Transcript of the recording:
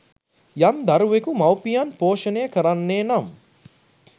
යම් දරුවකු මවුපියන් පෝෂණය කරන්නේ නම්